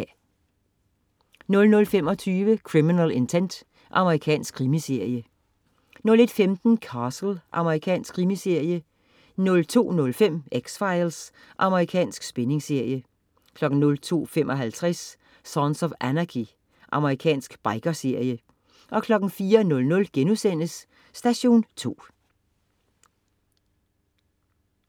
00.25 Criminal Intent. Amerikansk krimiserie 01.15 Castle. Amerikansk krimiserie 02.05 X-Files. Amerikansk spændingsserie 02.55 Sons of Anarchy. Amerikansk biker-serie 04.00 Station 2*